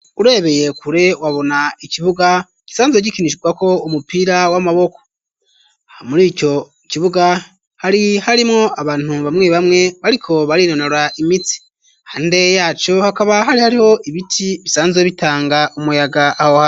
Urebeye kure wabona ikibuga gisanzwe gikinishwa ko umupira w'amaboko ha muri ico kibuga hari hari mwo abantu bamwe bamwe bariko barinonora imitsi hande yaco hakaba hari hariho ibiti bisanzwe bitanga umuyaga aho hantu.